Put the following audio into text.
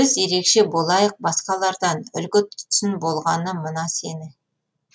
біз ерекше болайық басқалардан үлгі тұтсын болғаны мына сені